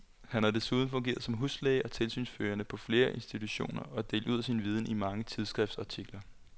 Han har desuden fungeret som huslæge og tilsynsførende på flere institutioner og delt ud af sin viden i mange tidsskriftsartikler.